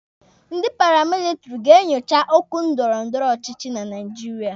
Ndị paramilitiri ga-enyocha okwu ndọrọndọrọ ọchịchị na Naijiria.